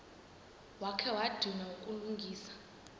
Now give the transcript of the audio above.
wakha wadinwa kukulungisa